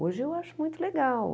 Hoje eu acho muito legal.